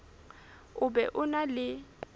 o be o na le